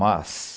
Mas...